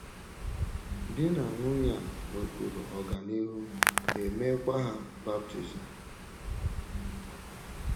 Di na nwunye a nwekwuru ọganihu, e meekwa ha baptizim.